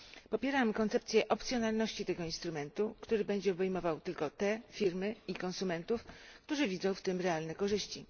Popieram koncepcję opcjonalności tego instrumentu, który będzie obejmował tylko te firmy i konsumentów, którzy widzą w tym realne korzyści.